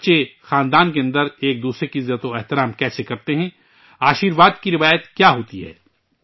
بچے خاندان کے اندر ایک دوسرے کی عزت کیسے کرتے ہیں ، آشرواد کی روایت کیا ہوتی ہے